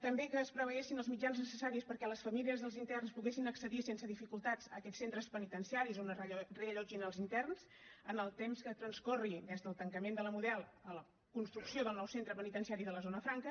també que es preveiessin els mitjans necessaris perquè les famílies dels interns poguessin accedir sense dificultats a aquests centres penitenciaris on es reallotgin els interns en el temps que transcorri des del tancament de la model a la construcció del nou centre penitenciari de la zona franca